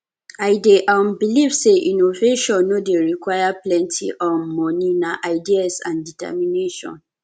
i dey um believe say innovation no dey require plenty um monie na ideas and determination